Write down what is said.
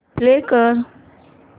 play कर